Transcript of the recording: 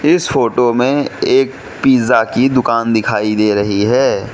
इस फोटो में एक पिज़्ज़ा की दुकान दिखाई दे रही है।